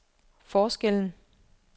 forskellen